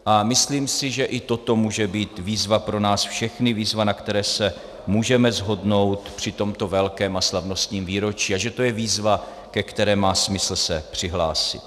A myslím si, že i toto může být výzva pro nás všechny, výzva, na které se můžeme shodnout při tomto velkém a slavnostním výročí, a že to je výzva, ke které má smysl se přihlásit.